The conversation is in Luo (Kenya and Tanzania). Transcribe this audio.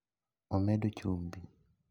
omedo chumbi